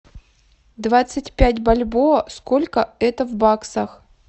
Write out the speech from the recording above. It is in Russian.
двадцать пять бальбоа сколько это в баксах